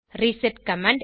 reset command